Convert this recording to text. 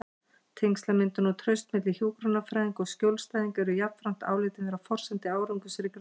Tengslamyndun og traust milli hjúkrunarfræðinga og skjólstæðinga eru jafnframt álitin vera forsendur árangursríkrar hjúkrunar.